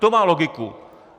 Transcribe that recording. To má logiku.